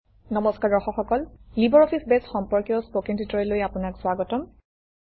নমস্কাৰ দৰ্শক সকল লিবাৰঅফিছ বেছ সম্পৰ্কীয় স্পকেন ট্যুটৰিয়েললৈ আপোনাক স্বাগতম